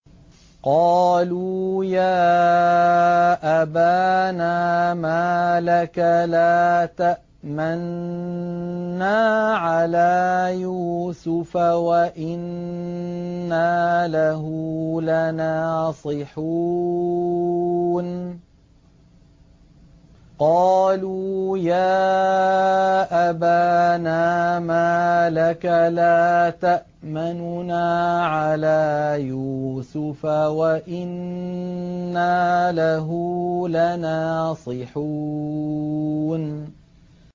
قَالُوا يَا أَبَانَا مَا لَكَ لَا تَأْمَنَّا عَلَىٰ يُوسُفَ وَإِنَّا لَهُ لَنَاصِحُونَ